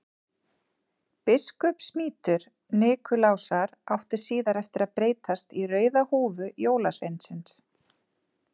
Biskupsmítur Nikulásar átti síðar eftir að breytast í rauða húfu jólasveinsins.